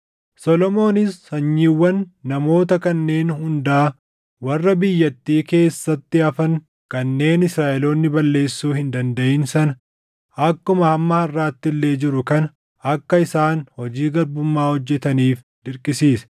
Solomoonis sanyiiwwan namoota kanneen hundaa warra biyyattii keessatti hafan kanneen Israaʼeloonni balleessuu hin dandaʼin sana akkuma hamma harʼaatti illee jiru kana akka isaan hojii garbummaa hojjetaniif dirqisiise.